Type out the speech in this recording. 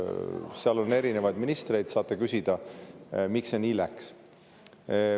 Seal oli erinevaid ministreid, saate küsida, miks see nii läks.